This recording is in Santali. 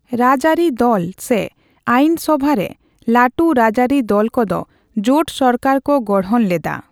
ᱨᱟᱹᱡᱽ ᱟᱨᱤ ᱫᱚᱞ ᱥᱮ ᱟᱭᱤᱱ ᱥᱚᱵᱷᱟ ᱨᱮ ᱞᱟᱴᱩ ᱨᱟᱡᱽᱟᱹᱨᱤ ᱫᱚᱞ ᱠᱚᱫᱚ ᱡᱳᱴ ᱥᱚᱨᱠᱟᱨ ᱠᱚ ᱜᱚᱲᱦᱚᱱ ᱞᱮᱫᱟ ᱾